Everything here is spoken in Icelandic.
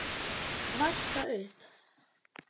Vaska upp?